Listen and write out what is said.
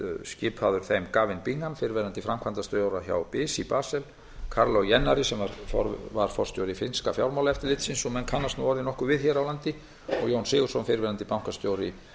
skipaður þeim gavin bingham fyrrverandi framkvæmdastjóra hjá bis í basel kaarlo hennar sem var forstjóri finnska fjármálaeftirlitsins og menn kannast nú orðið nokkuð við hér á landi og jón sigurðsson fyrrverandi bankastjóri